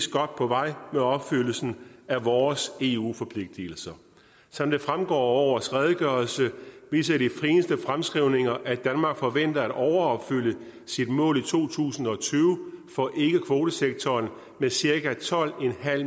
godt på vej med opfyldelsen af vores eu forpligtelser som det fremgår af årets redegørelse viser de seneste fremskrivninger at danmark forventer at overopfylde sit mål i to tusind og tyve for ikkekvotesektoren med cirka tolv